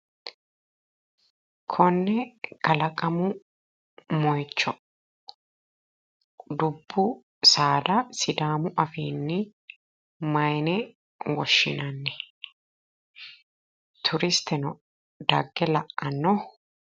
Konne kalaqamu moyicho dubbu saada sidaamu afiinni mayine woshshinanni? Turisteno dagge la"anno?